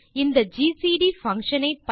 இந்த GCD function ஐ